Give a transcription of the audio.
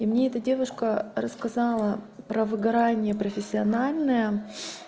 и мне эта а девушка рассказала про выгорание профессиональное